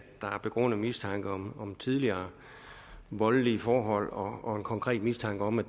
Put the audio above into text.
der er begrundet mistanke om om tidligere voldelige forhold og en konkret mistanke om at